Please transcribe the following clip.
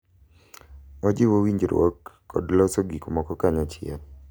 Ojiwo winjruok kod loso gik moko kanyachiel.